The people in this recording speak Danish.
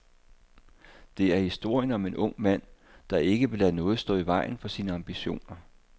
Det er historien om en ung mand, der ikke vil lade noget stå i vejen for sine ambitioner.